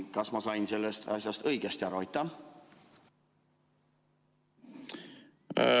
Kas ma sain sellest asjast õigesti aru?